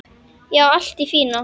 Já, allt í fína.